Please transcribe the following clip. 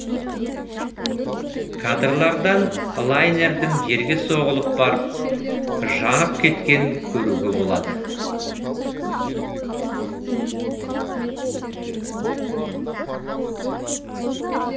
кадрлардан лайнердің жерге соғылып барып жанып кеткенін көруге болады